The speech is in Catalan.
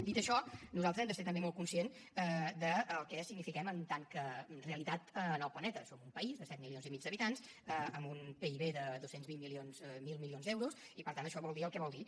dit això nosaltres hem de ser també molt conscients del que signifiquem en tant que realitat en el planeta som un país de set milions i mig d’habitants amb un pib de dos cents miler milions d’euros i per tant això vol dir el que vol dir